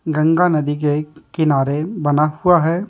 गंगा नदी के कि किनारे बना हुआ है।